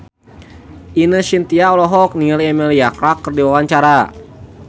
Ine Shintya olohok ningali Emilia Clarke keur diwawancara